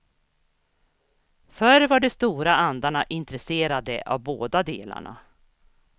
Förr var de stora andarna intresserade av båda delarna.